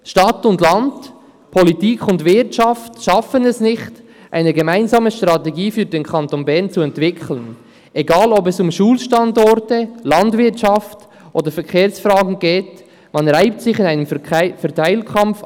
«Stadt und Land, Politik und Wirtschaft schaffen es nicht, eine gemeinsame Strategie für den Kanton Bern zu entwickeln, egal ob es um Schulstandorte, Landwirtschaft oder Verkehrsfragen geht, man reibt sich auf in einem […] Verteilkampf.